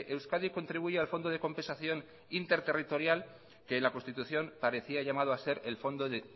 euskadi contribuye al fondo de compensación interterritorial que en la constitución parecía llamado a ser el fondo de